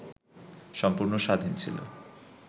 সম্পূর্ণ স্বাধীন ছিল,